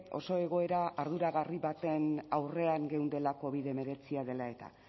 oso egoera arduragarria baten aurrean geundela covid hemeretzia dela eta